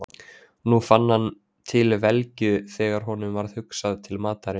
Nú fann hann til velgju þegar honum varð hugsað til matarins.